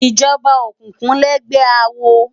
Ijòbá ókúkú lègbè àwó